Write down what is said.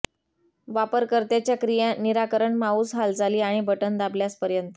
वापरकर्त्याच्या क्रिया निराकरण माउस हालचाली आणि बटण दाबल्यास पर्यंत